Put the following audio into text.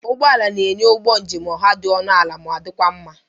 Ụgbọ ala na-enye ụgbọ njem ọha dị ọnụ ala ma dịkwa mma.